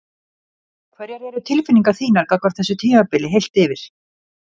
Hverjar eru tilfinningar þínar gagnvart þessu tímabili heilt yfir?